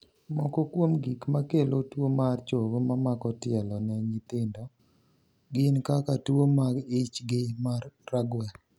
Moko kuom gik makelo tuomar chogo mamako tielo ne nyithindo gin kaka tuo mag ich gi mar ragwel